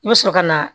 I bɛ sɔrɔ ka na